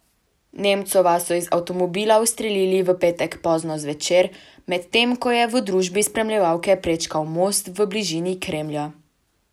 Nemcova so iz avtomobila ustrelili v petek pozno zvečer, medtem ko je v družbi spremljevalke prečkal most v bližini Kremlja.